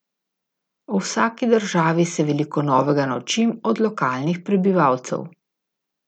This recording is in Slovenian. O vsaki državi se veliko novega naučim od lokalnih prebivalcev.